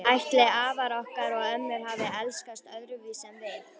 Ætli afar okkar og ömmur hafi elskast öðruvísi en við?